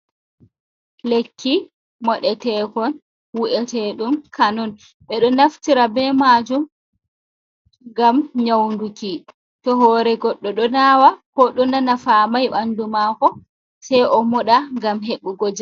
Lekki moɗe tekon wu’ete ɗum kano,n ɓe ɗo naftira be majum ngam nyauduki, to hore goɗɗo ɗo nawa ko ɗo nana famai bandu mako se o moɗa ngam hebugo ja.